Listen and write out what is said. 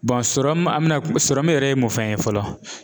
an mina yɛrɛ ye mun fɛn ye fɔlɔ ?